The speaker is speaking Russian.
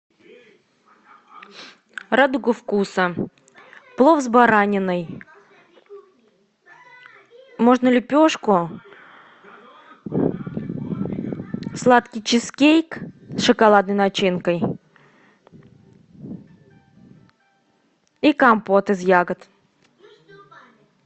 радуга вкуса плов с бараниной можно лепешку сладкий чизкейк с шоколадной начинкой и компот из ягод